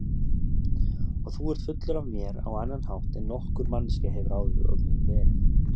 Og þú ert fullur af mér á annan hátt en nokkur manneskja hefur áður verið.